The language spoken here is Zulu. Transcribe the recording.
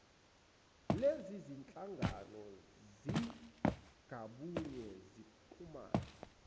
lezizinhlangano zingabuye zixhumane